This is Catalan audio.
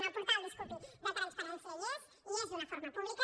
en el portal disculpi de transparència hi és hi és d’una forma pública